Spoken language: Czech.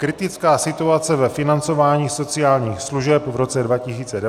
Kritická situace ve financování sociálních služeb v roce 2019 a její řešení